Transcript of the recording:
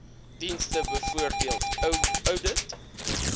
dienste bv oudit